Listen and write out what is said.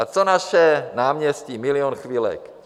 A co naše náměstí, Milion chvilek?